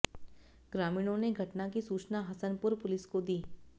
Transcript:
ग्रामीणों ने घटना की सूचना हसनपुर पुलिस को दी